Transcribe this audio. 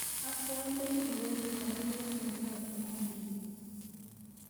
Asome iwolu baruet nebo inguni